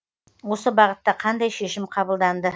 осы бағытта қандай шешім қабылданды